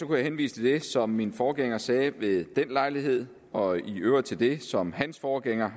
jeg henvise til det som min forgænger sagde ved den lejlighed og i øvrigt til det som hans forgænger